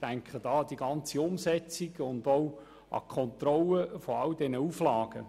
Ich denke an die ganze Umsetzung und die Kontrolle all dieser Auflagen.